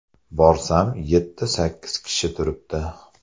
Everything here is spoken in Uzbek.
Borsam, yetti-sakkiz kishi turibdi.